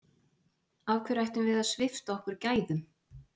Af hverju ættum við að svipta okkur gæðum?